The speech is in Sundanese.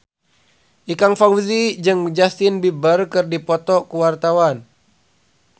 Ikang Fawzi jeung Justin Beiber keur dipoto ku wartawan